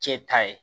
Cɛ ta ye